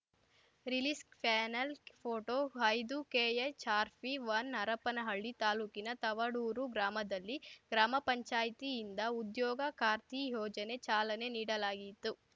release panel photo ಐದುಕೆಎಚ್‌ಆರ್‌ಪಿವನ್ ಹರಪ್ಪನಹಳ್ಳಿ ತಾಲೂಕಿನ ತವಡೂರು ಗ್ರಾಮದಲ್ಲಿ ಗ್ರಾಮ ಪಂಚಾಯತಿ ಯಿಂದ ಉದ್ಯೋಗ ಖಾತ್ರಿ ಯೋಜನೆ ಚಾಲನೆ ನೀಡಲಾಯಿತು